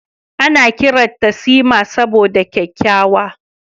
Ana kiranta Sima saboda kyakkyawa.